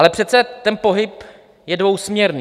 Ale přece, ten pohyb je dvousměrný.